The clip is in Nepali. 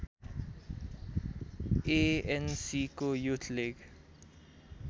एएनसीको युथ लिग